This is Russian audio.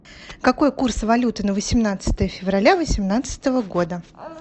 какой курс валюты на восемнадцатое февраля восемнадцатого года